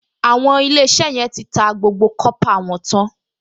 Àwọn Ilé-iṣẹ́ yẹn ti ta gbogbo kọ́pà wọn tán